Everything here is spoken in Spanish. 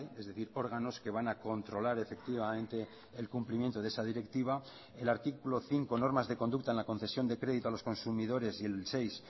es decir órganos que van a controlar efectivamente el cumplimiento de esa directiva el artículo cinco normas de conducta en la concesión de crédito a los consumidores y el seis